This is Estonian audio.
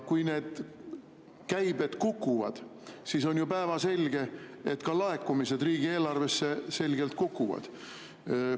Kui need käibed kukuvad, siis on ju päevselge, et ka laekumised riigieelarvesse selgelt kukuvad.